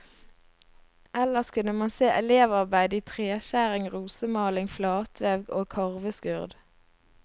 Ellers kunne man se elevarbeider i treskjæring, rosemaling, flatvev og karveskurd.